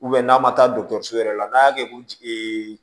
n'a ma taa dɔgɔtɔrɔso yɛrɛ la n'a y'a kɛ ko